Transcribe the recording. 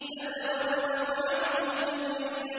فَتَوَلَّوْا عَنْهُ مُدْبِرِينَ